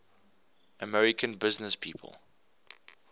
american businesspeople